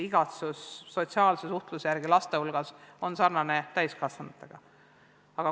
Igatsus sotsiaalse suhtluse järele on laste hulgas sarnane täiskasvanutega.